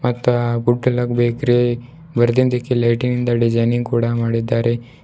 ಮತ್ತೆ ಬೇಕರಿ ಮರದಿಂದಕ್ಕೆ ಲೈಟಿಂಗ್ ನಿಂದ ಡಿಸೈನ್ ಕೂಡ ಮಾಡಿದ್ದಾರೆ.